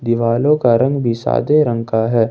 दिवालो का रंग भी सादे रंग का है।